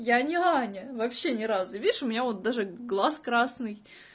я не аня вообще ни разу видишь у меня вот даже глаз красный